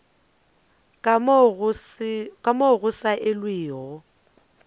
ka moo go sa elwego